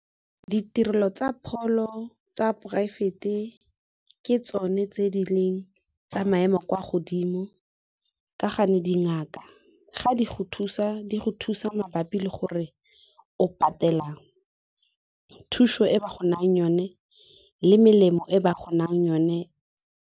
Ditirelo tsa pholo tsa poraefete ke tsone tse di leng tsa maemo a kwa godimo ka gane dingaka, ga di go thusa go thusa mabapi le gore o patela thuso e ba go nayang yone le melemo e ba go nayang yone.